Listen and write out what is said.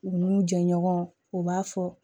U n'u jɛɲɔgɔn u b'a fɔ